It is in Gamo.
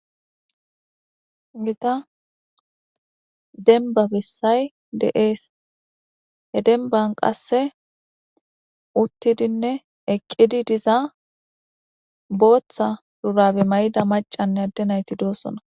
ita denba bessay de'ees he denban qasse uttidinne eqqidi diza booththa durabe mayda macanne adde nayti doosona.